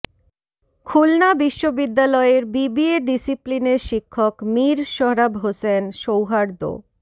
খুলনা বিশ্ববিদ্যালয়ের বিবিএ ডিসিপ্লিনের শিক্ষক মীর সোহরাব হোসেন সৌহার্দ্য